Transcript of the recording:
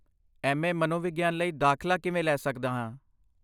ਮੈਂ ਐਮ.ਏ. ਮਨੋਵਿਗਿਆਨ ਲਈ ਦਾਖਲਾ ਕਿਵੇਂ ਲੈ ਸਕਦਾ ਹਾਂ?